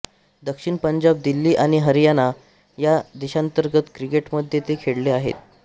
दक्षिण पंजाब दिल्ली आणि हरियाणा या देशांतर्गत क्रिकेटमध्ये ते खेळले आहेत